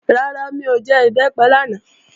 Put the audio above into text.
Rárá, mi ò jẹ Ìbẹ́pẹ lánàá